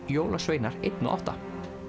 jólasveinar einn og átta